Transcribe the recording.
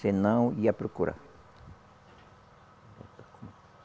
Se não, ia procurar.